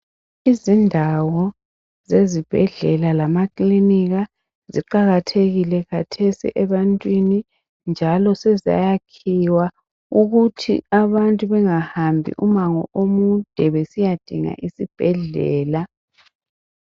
Izindawo zezibhedlela lamakilinika ziqakathekile khathesi ebantwini njalo sezayakhiwa ukuthi abantu bangahambi umango omude besiyadinga isibhedlela.